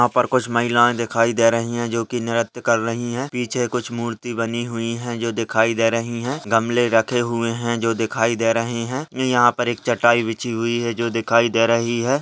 यहाँ पर कुछ महिलाये दिखाई दे रही है जो नृत्य कर रही है पीछे कुछ मूर्ति बनी हुई है जो दिखाई दे रही है गमले रखे हुए है जो दिखाई दे रहे है ये यहाँ पर एक चटाई बिछीं हुए है जो दिखाई दे रही है।